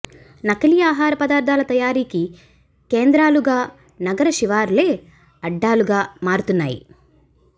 నకిలీ అహార పదార్థాల తయారీకి కేంద్రాలుగా నగర శివారులే అడ్డాలుగా మారుతున్నాయి